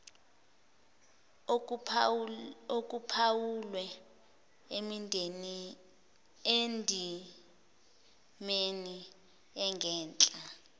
okuphawulwe endimeni engenhla